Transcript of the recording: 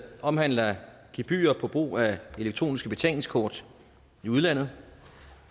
omhandler gebyrer på brug af elektroniske betalingskort i udlandet